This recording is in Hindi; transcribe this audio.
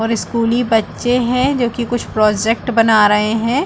और स्कूली बच्चे है जो की कुछ प्रोजेट बना रहै है।